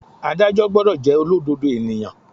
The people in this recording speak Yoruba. Ádájọ́ gbọ́dọ̀ jẹ́ olódodo ènìyàn.